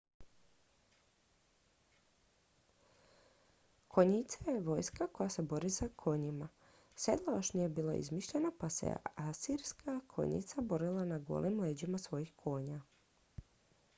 konjica je vojska koja se bori na konjima sedlo još nije bilo izmišljeno pa se asirska konjica borila na golim leđima svojih konja